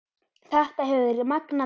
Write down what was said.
Þetta hefur verið magnað ár